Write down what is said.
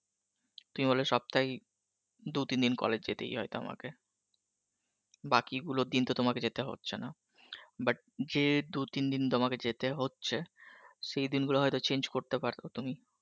তুমি বলবে সপ্তায় দু তিন দিন college যেতেই হয় তোমাকে, বাকি গুলো দিন তো তোমাকে যেতে হচ্ছে না but যে দু তিন দিন তোমাকে যেতে হচ্ছে সেই দিন গুলো হয়তো change করতে পরো তুমি